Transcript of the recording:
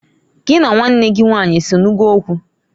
Gị na nwanne gị nwanyị esenugo okwu?